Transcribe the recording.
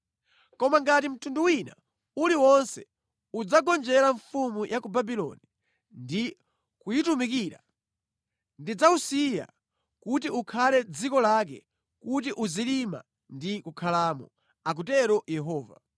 Koma ngati mtundu wina uliwonse udzagonjera mfumu ya ku Babuloni ndi kuyitumukira, ndidzawusiya kuti ukhale mʼdziko lake kuti uzilima ndi kukhalamo, akutero Yehova.’ ”